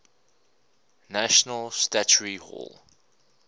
national statuary hall